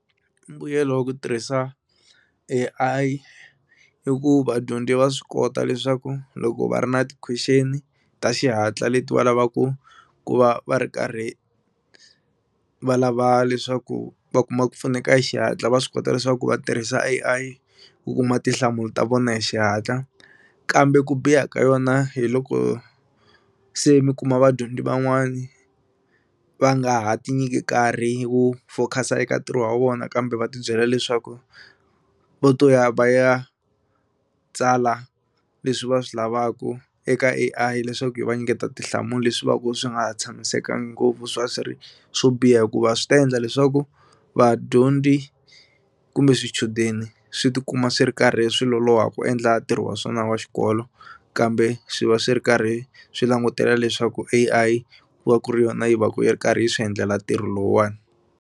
Mbuyelo wa ku tirhisa A_I i ku vadyondzi va swi kota leswaku loko va ri na ti-question ta xihatla leti va lavaku ku va va ri karhi va lava leswaku va kuma ku pfuneka hi xihatla va swi kota leswaku va tirhisa A_I ku kuma tinhlamulo ta vona hi xihatla kambe ku biha ka yona hi loko se mi kuma vadyondzi van'wani va nga ha ti nyiki nkarhi wo focus-a eka ntirho wa vona kambe va tibyela leswaku vo to ya va ya tsala leswi va swi lavaka eka A_I leswaku yi va nyiketa tinhlamulo leswi va ku swi nga ha tshamisekangi ngopfu swa swo biha hikuva swi ta endla leswaku vadyondzi kumbe swichudeni swi tikuma swi ri karhi hi swi lolowa ku endla ntirho wa swona wa xikolo kambe swi va swi ri karhi swi langutela leswaku A_I ku va ku ri yona yi va ku yi ri karhi yi swi endlela ntirho lowuwani.